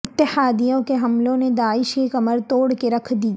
اتحادیوں کے حملوں نے داعش کی کمر توڑ کے رکھ دی